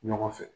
Ɲɔgɔn fɛ